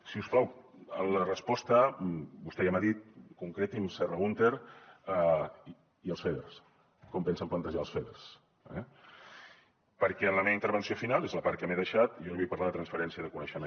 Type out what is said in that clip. si us plau en la resposta vostè ja m’ho ha dit concreti’m serra húnter i els feder com pensen plantejar els feder eh perquè en la meva intervenció final és la part que m’he deixat jo li vull parlar de transferència de coneixement